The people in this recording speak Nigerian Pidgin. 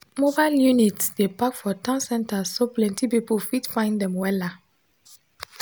mobile units dey park for town centers so plenty people fit find dem wella